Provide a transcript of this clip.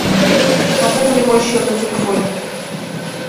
пополни мой счет на телефоне